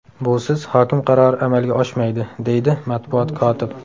Busiz hokim qarori amalga oshmaydi”, deydi matbuot kotib.